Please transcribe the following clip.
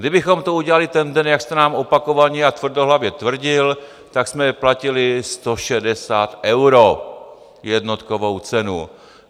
Kdybychom to udělali ten den, jak jste nám opakovaně a tvrdohlavě tvrdil, tak jsme platili 160 eur jednotkovou cenu.